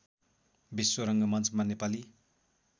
विश्व रङ्गमञ्चमा नेपाली